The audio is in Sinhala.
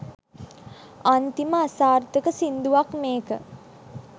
අන්තිම අසාර්ථක සිංදුවක් මේක.